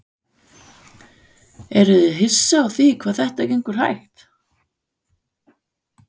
Eruð þið hissa á því hvað þetta gengur hægt?